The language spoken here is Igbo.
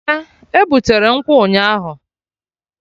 Eh, e butere nkwụ ụnyaahụ